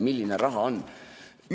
Milline raha see on!